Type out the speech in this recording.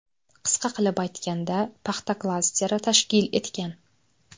Qisqa qilib aytganda paxta klasteri tashkil etgan.